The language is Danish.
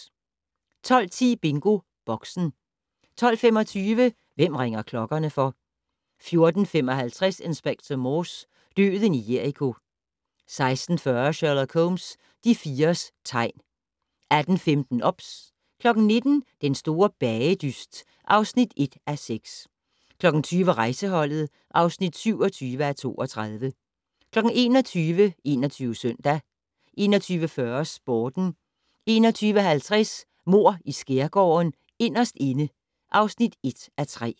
12:10: BingoBoxen 12:25: Hvem ringer klokkerne for? 14:55: Inspector Morse: Døden i Jericho 16:40: Sherlock Holmes: De fires tegn 18:15: OBS 19:00: Den store bagedyst (1:6) 20:00: Rejseholdet (27:32) 21:00: 21 Søndag 21:40: Sporten 21:50: Mord i Skærgården: Inderst inde (1:3)